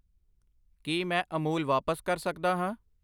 ਕੀ ਮੈਂ ਅਮੂਲ ਵਾਪਸ ਕਰ ਸਕਦਾ ਹਾਂ?